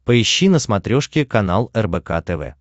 поищи на смотрешке канал рбк тв